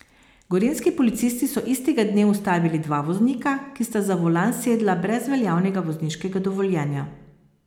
Gorenjski policisti so istega dne ustavili dva voznika, ki sta za volan sedla brez veljavnega vozniškega dovoljenja.